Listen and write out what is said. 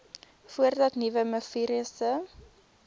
voordat nuwe mivirusse